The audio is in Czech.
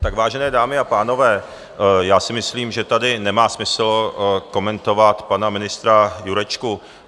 Tak vážené dámy a pánové, já si myslím, že tady nemá smysl komentovat pana ministra Jurečku.